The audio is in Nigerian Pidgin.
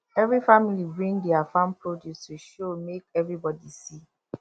every family bring dia farm produce to show make everybody see